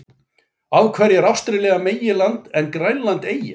Af hverju er Ástralía meginland en Grænland eyja?